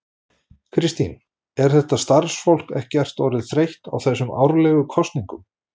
Kristín, er þetta starfsfólk ekkert orðið þreytt á þessum árlegu kosningum?